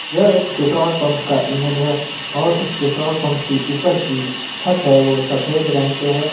यह एक petrol pump का इमेज है और उस पेट्रोल पंप की ऊपर की छत है वह सफेद रंग से है।